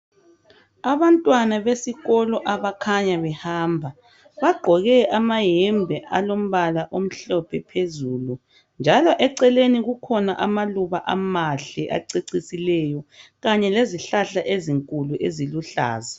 Abantwana besikolo abakhanya behamba bagqoke amayembe alombala omhlophe phezulu njalo eceleni kukhona amaluba amahle acecisileyo kanye lezihlahla ezinkulu eziluhlaza.